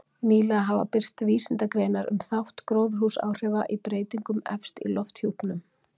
Nýlega hafa birst vísindagreinar um þátt gróðurhúsaáhrifa í breytingum efst í lofthjúpnum.